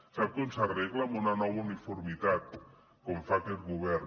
sap com s’arregla amb una nova uniformitat com fa aquest govern